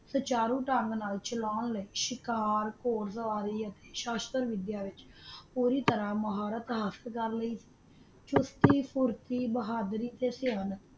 ਤਾ ਚਾਰੋਥਨ ਨੂ ਚਾਲਾਂ ਲੀ ਚਾਕਰ ਗੁਰਦਵਾਰਾ ਸ਼ਾਹਾਂ ਪੋਰੀ ਤਾਰਾ ਮਹਾਰਤ ਹਾਸਲ ਕਰ ਲੀ ਸੁਰ੍ਕੀ ਸਾਸਤ ਬੋਹਾਦਾਰੀ ਤਾ ਜ਼ਹਾਨਤ